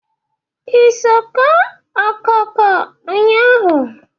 I so kụọ okooko nnyaa?